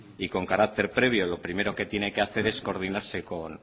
y con carácter previo lo primero que tiene que hacer es coordinarse